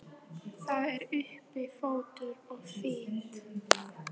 Það er uppi fótur og fit.